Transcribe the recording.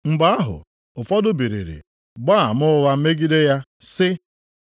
Mgbe ahụ ụfọdụ biliri gbaa ama ụgha megide ya, sị,